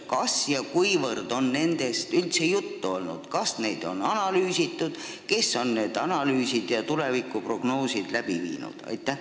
Kas sellest on üldse juttu olnud, kas seda on analüüsitud ja kui on, siis kes on need analüüsid ja tulevikuprognoosid koostanud?